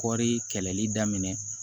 Kɔɔri kɛlɛli daminɛ